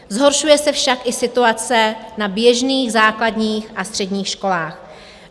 Zhoršuje se však i situace na běžných základních a středních školách.